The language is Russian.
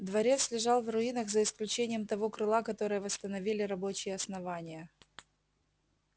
дворец лежал в руинах за исключением того крыла которое восстановили рабочие основания